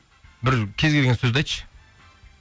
бір кез келген сөзді айтшы